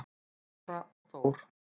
Lára og Þór.